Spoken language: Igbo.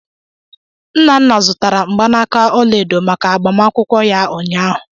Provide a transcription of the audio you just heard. Nnanna zụtara mgbanaka ọla edo maka agbamakwụkwọ ya ụnyahụ.